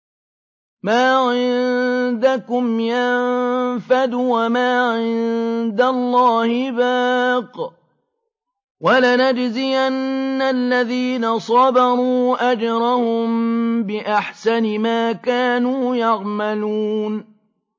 مَا عِندَكُمْ يَنفَدُ ۖ وَمَا عِندَ اللَّهِ بَاقٍ ۗ وَلَنَجْزِيَنَّ الَّذِينَ صَبَرُوا أَجْرَهُم بِأَحْسَنِ مَا كَانُوا يَعْمَلُونَ